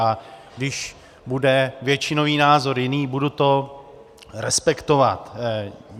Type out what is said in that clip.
A když bude většinový názor jiný, budu to respektovat.